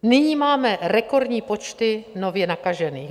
Nyní máme rekordní počty nově nakažených.